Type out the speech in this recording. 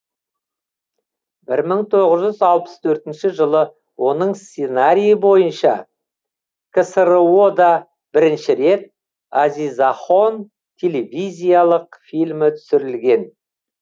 бір мың тоғыз жүз алпыс төртінші жылы оның сценарийі бойынша ксро да бірінші рет азизахон телевизиялық фильмі түсірілген